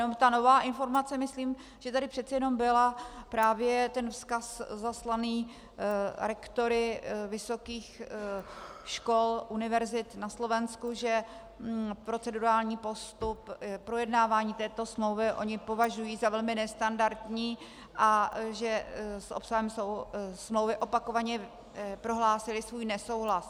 Jenom ta nová informace, myslím, že tady přece jenom byl právě ten vzkaz zaslaný rektory vysokých škol, univerzit na Slovensku, že procedurální postup projednávání této smlouvy oni považují za velmi nestandardní a že s obsahem smlouvy opakovaně prohlásili svůj nesouhlas.